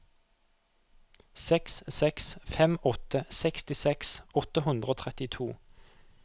seks seks fem åtte sekstiseks åtte hundre og trettito